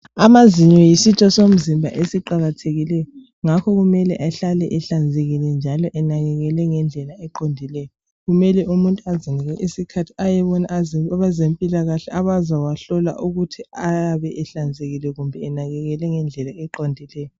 Amazinyo yisitho somzimba esiqakathekileyo ngakho kumele ehlale ehlanzekile njalo enakekelwe ngendlela qondileyo kumele umuntu azinike isikhathi ayebona abezempilakahle abazawahlola ukuthi ayabe ehlanzekile kumbe enakekelwe ngendlela eqondileyo .